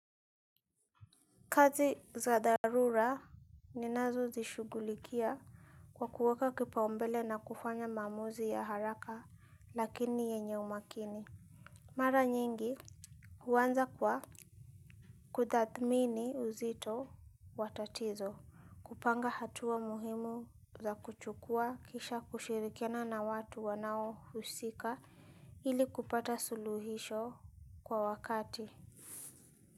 Kazi za dharura ninazozishughulikia kwa kuweka kipaumbele na kufanya maamuzi ya haraka lakini yenye umakini. Mara nyingi huanza kwa kutathmini uzito wa tatizo, kupanga hatua muhimu za kuchukua kisha kushirikiana na watu wanaohusika ili kupata suluhisho kwa wakati.